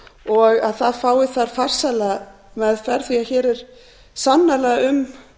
og að það fái þar farsæla meðferð því að hér er sannarlega um